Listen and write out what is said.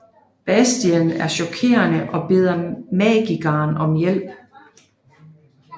Bastien er chokeret og beder magikeren om hjælp